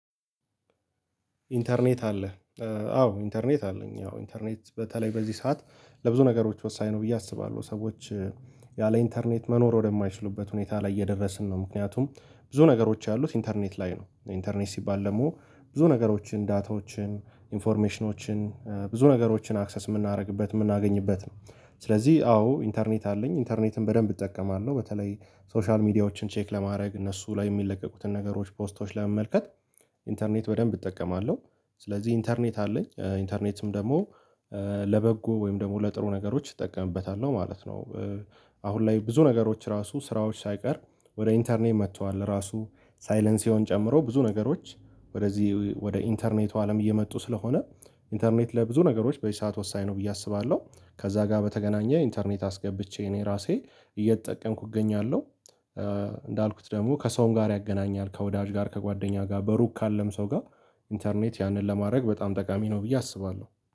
ኢንተርኔት አለ አዎ ኢንተርኔት አለኝ ያው ኢንተርኔት በተለይ በዚህ ሰዓት ለብዙ ነገሮች ወሳኝ ነው ብዬ አስባለሁ፤ ሰዎች ያለ ኢንተርኔት መኖር ወደማይችሉበት ሁኔታ ላይ እየደረስን ነው ምክንያቱም ብዙ ነገሮች ያሉት ኢንተርኔት ላይ ነው ኢንተርኔት ሲባል ደግሞ ብዙ ነገሮችን፣ ዳታዎችን፣ ኢንፎርሜሽኖችን ብዙ ነገሮችን አክሰስ የምናደርግበት የምናገኝበት ነው፤ ስለዚህ አዎ ኢንተርኔት አለኝ ኢንተርኔትን በደንብ እጠቀማለሁ በተለይ ሶሻል ሚዲያዎችን ቼክ ለማድረግ እነሱ ላይ የሚለቀቁትን ነገሮች ፖስቶች ላይ ለመመልከት ኢንተርኔት በደንብ እጠቀማለ፤ ስለዚህ ኢንተርኔት አለኝ ኢንተርኔትም ደግሞ ለበጎ ወይም ደግሞ ለጥሩ ነገሮች እጠቀምበታለሁ ነው ማለት ነው። አሁን ላይ ብዙ ነገሮች ራሱ ስራዎች ሳይቀር ወደ ኢንተርኔት መጥተዋል ራሱ ሳይለን ሲኦን ጨምሮ ብዙ ነገሮች ወደዚህ ወደ ኢንተርኔቱ አለም እየመጡ ስለሆነ ኢንተርኔት ለብዙ ነገሮች በዚህ ሰዓት ወሳኝ ነው ብዬ አስባለሁ፤ ከዛ ጋር በተገናኘ ኢንተርኔት አስገብቼ እኔ ራሴ እየተጠቀምኩ እገኛለሁ። እንዳልኩት ደግሞ ከሰውም ጋር ያገናኛል ከወዳጅ ጋር ከጓደኛ ጋር በሩቅ ካለም ሰው ጋር ኢንተርኔት ያንን ለማድረግ በጣም ጠቃሚ ነው ብዬ አስባለሁ።